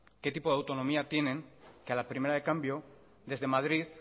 qué tipo de autonomía tienen que a la primera de cambio desde madrid